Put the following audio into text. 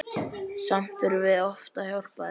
Samt þurftum við oft að hjálpa þeim.